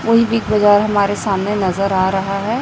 कोई बिग बाजार हमारे सामने नजर आ रहा है।